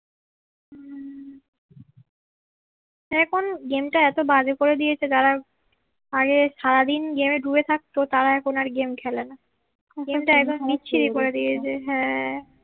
এখন গেম টা এত বাজে করে দিয়েছে যারা আগে সারাদিন গেমে ডুবে থাকতো তারা এখন আর গেম খেলে না